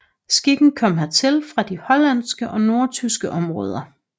Skikken kom hertil fra de hollandske og nordtyske områder